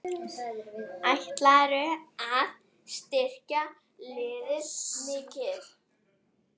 Ætlarðu að styrkja liðið mikið?